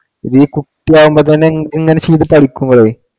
ഈ കുട്ടിയാകുമ്പോ തന്നെ ഇങ്ങനെ ചെയ്തു പഠിക്കുമ്പോഴേ